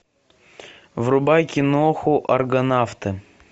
врубай киноху аргонавты